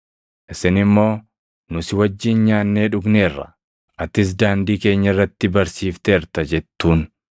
“Isin immoo, ‘Nu si wajjin nyaannee dhugneerra; atis daandii keenya irratti barsiifteerta’ jettuun.